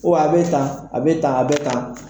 a bɛ tan, a bɛ tan, a bɛ tan.